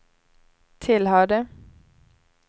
tillhörde